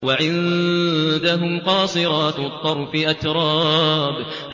۞ وَعِندَهُمْ قَاصِرَاتُ الطَّرْفِ أَتْرَابٌ